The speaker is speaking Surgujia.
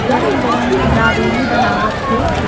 गरम-गरम दाबेली बनावत हे।